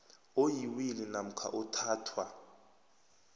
oyiwili namkha othathwa